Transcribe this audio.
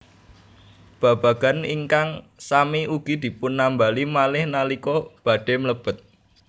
Babagan ingkang sami ugi dipunambali malih nalika badhé mlebet